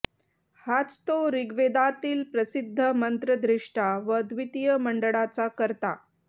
हाच तो ऋग्वेदातील प्रसिद्ध मंत्रदृष्टा व द्वितीय मंडळाचा करता